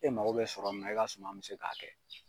E mago bɛ sɔrɔ min na, i ka suman mi se k'a kɛ.